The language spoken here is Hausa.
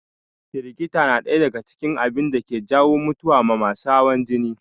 Firgita na ɗaya daga cikin abunda ke jawo mutuwa ma masu hawan jini